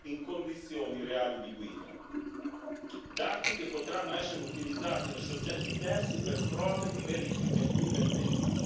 in condizioni reali di guida, dati che potranno essere utilizzati da soggetti terzi per prove di verifica indipendenti.